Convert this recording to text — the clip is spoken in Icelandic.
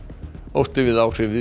ótti við áhrif